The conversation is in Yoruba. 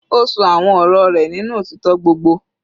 Ó ṣọ àwọn ọ̀rọ̀ rẹ̀ nínú òtítọ́ gbogbo.